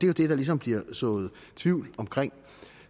jo det der ligesom bliver sået tvivl om